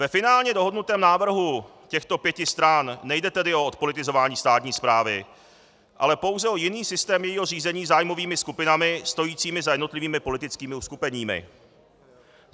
Ve finálně dohodnutém návrhu těchto pěti stran nejde tedy o odpolitizování státní správy, ale pouze o jiný systém jejího řízení zájmovými skupinami stojícími za jednotlivými politickými uskupeními.